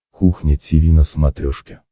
кухня тиви на смотрешке